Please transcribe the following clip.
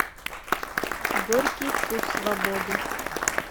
горький вкус свободы